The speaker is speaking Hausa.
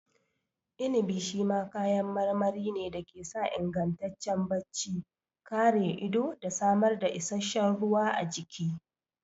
Inibi shi ma kayan marmari ne da ke sa ingantaccen bacci, kare ido da samar da isasshen ruwa a jiki.